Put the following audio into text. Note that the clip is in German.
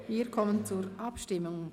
Wir kommen zur Abstimmung.